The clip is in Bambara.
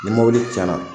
Ni mobili tiɲɛna